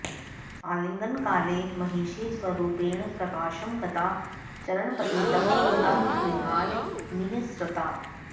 आलिङ्गनकाले महिषी स्वरूपेण प्रकाशं गता चरणपतितं तं विहाय निःसृता